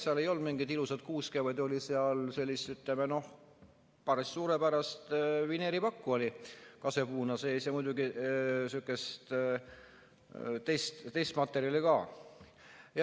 Seal ei olnud mingit ilusat kuuske, vaid seal oli, ütleme, päris suurepärast vineeripakku kasepuuna sees ja muidugi sihukest teist materjali ka.